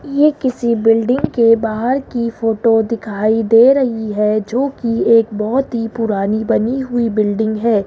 ये किसी बिल्डिंग के बाहर की फोटो दिखाई दे रही है जोकि एक बहोत ही पुरानी बनी हुई बिल्डिंग है।